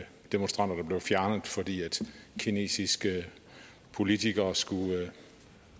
demonstranter der blev fjernet fordi kinesiske politikere skulle